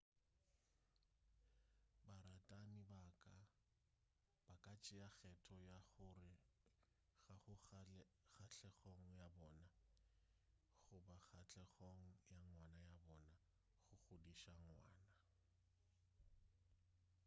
baratani ba ka tšea kgetho ya gore ga go kgahlegong ya bona goba kgahlegong ya ngwana wa bona go godiša ngwana